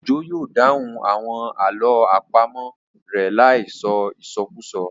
Òjó yóò dáhùn àwọn àlọ́ àpamọ̀ rẹ̀ láì sọ ìsọkúsọ